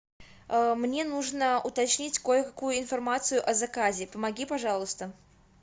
мне нужно уточнить кое какую информацию о заказе помоги пожалуйста